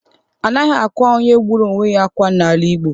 Anaghị akwa onye gburu onwe ya akwa n'ala Igbo.